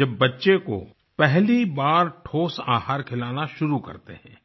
जब बच्चे को पहली बार ठोस आहार खिलाना शुरू करते हैं